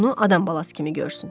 Bunu adam balası kimi görsün.